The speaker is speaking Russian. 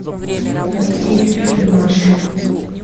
найди фильм маша